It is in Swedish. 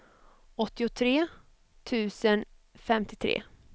åttiotre tusen femtiotre